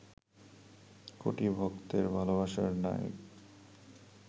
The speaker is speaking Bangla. কোটি ভক্তের ভালবাসার নায়িক